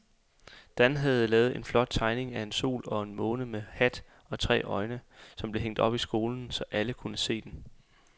Dan havde lavet en flot tegning af en sol og en måne med hat og tre øjne, som blev hængt op i skolen, så alle kunne se den.